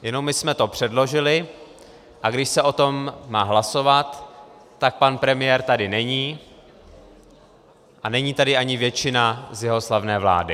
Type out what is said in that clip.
Jenomže my jsme to předložili, a když se o tom má hlasovat, tak pan premiér tady není a není tady ani většina z jeho slavné vlády.